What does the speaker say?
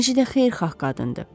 Necə də xeyirxah qadındır.